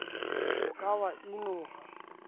o ka wa e noha